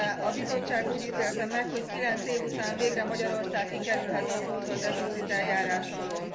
A Bizottság úgy ítélte meg, hogy 9 év után végre Magyarország kikerülhet a túlzottdeficit eljárás alól.